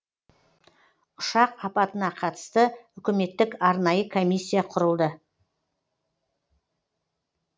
ұшақ апатына қатысты үкіметтік арнайы комиссия құрылды